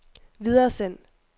videresend